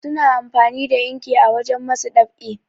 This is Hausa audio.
suna amfani da inki a wajen masu ɗab'i